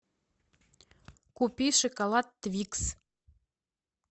купи шоколад твикс